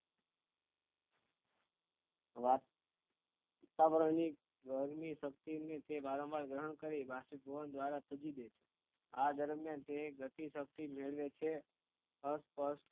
વાત ઉતાવળ ની ગરમી શક્તિ ની તે વારંવાર જરૂર કરે બાષ્પીભવન દ્વારા તજી દે છે આ દરમિયાન તે એક ગતિ શક્તિ નિમે છે અસ્પષ્ટ